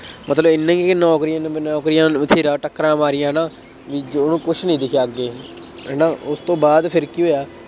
ਮਤਲਬ ਐਨਾ ਨਹੀਂ ਕਿ ਨੌਕਰੀਆਂ ਨੌਕਰੀਆਂ ਨੂੰ ਵਥੇਰਾ ਟੱਕਰਾਂ ਮਾਰੀਆਂ ਨਾ, ਕਿ ਜੋ ਉਹਨੂੰ ਕੁੱਛ ਨਹੀਂ ਦਿਖਿਆ ਅੱਗੇ, ਹੈ ਨਾ ਉਹ ਤੋਂ ਬਾਅਦ ਫੇਰ ਕੀ ਹੋਇਆ।